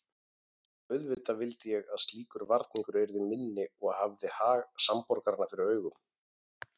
Auðvitað vildi ég að slíkur varningur yrði minni og hafði hag samborgaranna fyrir augum.